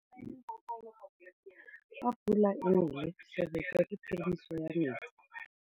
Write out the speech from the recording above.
Fa pula e nelê serêtsê ke phêdisô ya metsi.